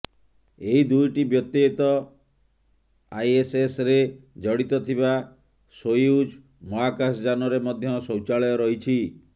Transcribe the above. ଏହି ଦୁଇଟି ବ୍ୟତୀତ୍ ଆଇଏସଏସରେ ଜଡିତ ଥିବା ସୋୟୁଜ ମହାକାଶଯାନରେ ମଧ୍ୟ ଶୌଚାଳୟ ରହିଛି